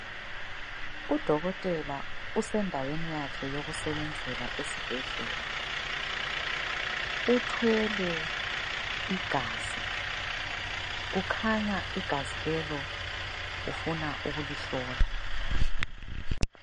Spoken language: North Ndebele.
Udokotela usendaweni yakhe yokusebenzela esibhedlela. Uthwele igazi ,kukhanya igazi lelo ufuna ukulihlola.